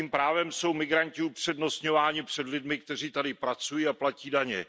Jakým právem jsou migranti upřednostňováni před lidmi, kteří tady pracují a platí daně?